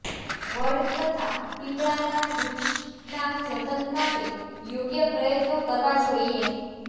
વડ તથા પીપળાના વૃક્ષના જતન માટે યોગ્ય પ્રયત્નો કરવા જોઈએ